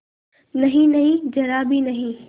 नहींनहीं जरा भी नहीं